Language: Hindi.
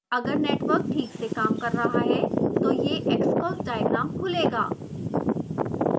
अगर नेटवर्क ठीक से काम कर रहा है तो यह xcos डायग्राम खुलेगा